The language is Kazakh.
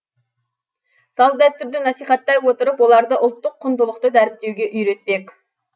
салт дәстүрді насихаттай отырып оларды ұлттық құндылықты дәріптеуге үйретпек